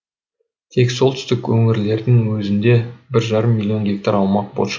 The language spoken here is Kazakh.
тек солтүстік өңірлердің өзінде бір жарым миллион гектар аумақ бос